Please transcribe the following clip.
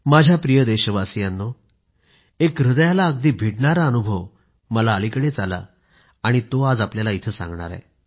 माझ्या प्रिय देशवासियांनो एक हृदयाला अगदी भिडणारा अनुभव मला अलिकडेच आला तो आज आपल्याला इथं सांगणार आहे